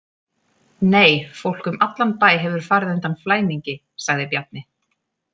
Nei, fólk um allan bæ hefur farið undan í flæmingi, sagði Bjarni.